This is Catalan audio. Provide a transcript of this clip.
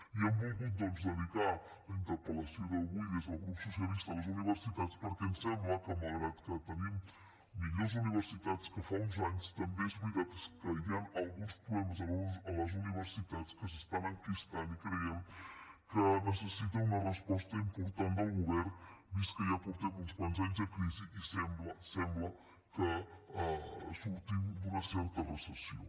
i hem volgut dedicar la interpel·lació d’avui des del grup socialista a les universitats perquè ens sembla que malgrat que tenim millors universitats que fa uns anys també és veritat que hi han alguns problemes a les universitats que s’estan enquistant i creiem que necessiten una resposta important del govern vist que ja portem uns quants anys de crisi i sembla sembla que sortim d’una certa recessió